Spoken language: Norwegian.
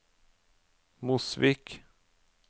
Mosvik